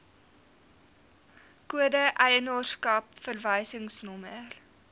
kode eienaarskap verwysingsnommer